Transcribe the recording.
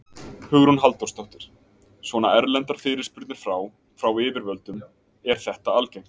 Hugrún Halldórsdóttir: Svona erlendar fyrirspurnir frá, frá yfirvöldum, er þetta algengt?